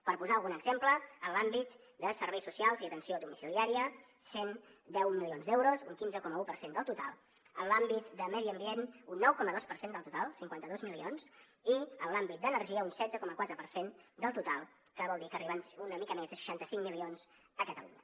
per posar algun exemple en l’àmbit de serveis socials i atenció domiciliària cent i deu milions d’euros un quinze coma un per cent del total en l’àmbit de medi ambient un nou coma dos per cent del total cinquanta dos milions i en l’àmbit d’energia un setze coma quatre per cent del total que vol dir que arriben una mica més de seixanta cinc milions a catalunya